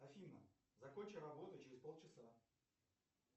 афина закончи работу через полчаса